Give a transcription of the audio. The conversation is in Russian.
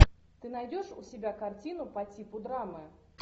ты найдешь у себя картину по типу драмы